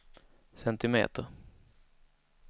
centimeter